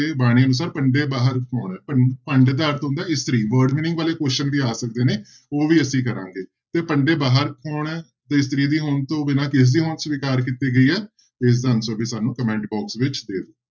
ਬਾਣੀ ਅਨੁਸਾਰ ਭੰਡੇ ਬਾਹਰ ਕੌਣ ਹੈ, ਭੰ ਭੰਡ ਦਾ ਅਰਥ ਹੁੰਦਾ ਹੈ ਇਸਤਰੀ word meaning ਵਾਲੇ question ਵੀ ਆ ਸਕਦੇ ਨੇ ਉਹ ਵੀ ਅਸੀਂ ਕਰਾਂਗੇ, ਤੇ ਭੰਡੇ ਬਾਹਰ ਕੌਣ ਹੈ ਤੇ ਇਸਤਰੀ ਦੀ ਹੋਂਦ ਤੋਂ ਬਿਨਾਂ ਕਿਸਦੀ ਹੋਂਦ ਸਵਿਕਾਰ ਕੀਤੀ ਗਈ ਹੈ ਤੇ ਇਸਦਾ answer ਵੀ ਸਾਨੂੰ comment box ਵਿੱਚ ਦੇ ਦਓ।